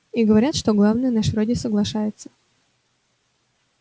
и говорят что главный наш вроде соглашается